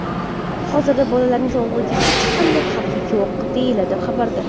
Hozirda bolalarning sog‘lig‘iga hech qanday xavf yo‘q”, deyiladi xabarda.